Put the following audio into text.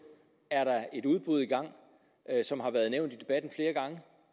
er der et udbud i gang som har været nævnt